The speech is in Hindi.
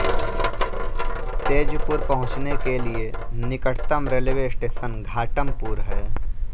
तेजपुर पहुंचने के लिए निकटतम रेलवे स्टेशन घाटमपुर है